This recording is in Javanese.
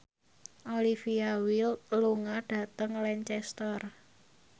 Olivia Wilde lunga dhateng Lancaster